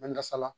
Mɛ nkasala